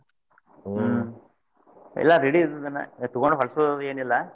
ಹ್ಮ್ ಎಲ್ಲಾ ready ಇದ್ದಿದ್ದನ್ನ ತೊಗೊಂಡ್ ಹೊಲಸೊವೆಲ್ಲ ಏನಿಲ್ಲಾ.